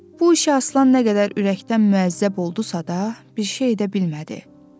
Bu işə Aslan nə qədər ürəkdən müəzzəb oldusa da, bir şey edə bilmədi.